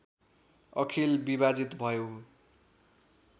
अखिल विभाजित भयो